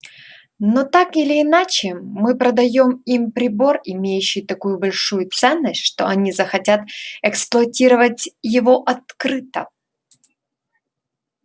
но так или иначе мы продаём им прибор имеющий такую большую ценность что они захотят эксплуатировать его открыто